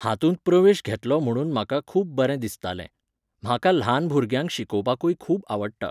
हातूंत प्रवेश घेतलो म्हणून म्हाका खूब बरें दिसतालें. म्हाका ल्हान भुरग्यांक शिकोवपाकूय खूब आवडटा.